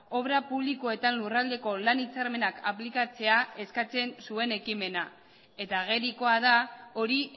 obra publikoetan lurraldeko lan hitzarmenak aplikatzea eskatzen zuen ekimena eta agerikoa da hori